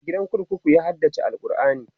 a gidan kurkuku ya haddace alQurani